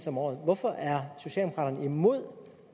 om året hvorfor er socialdemokraterne imod